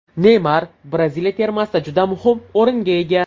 Neymar Braziliya termasida juda muhim o‘ringa ega.